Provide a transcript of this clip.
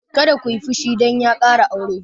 Kar kiyi fushi dan ya ƙara aure!